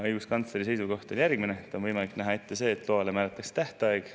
Õiguskantsleri seisukoht oli järgmine: on võimalik näha ette see, et loale määratakse tähtaeg.